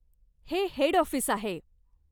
हे head office आहे.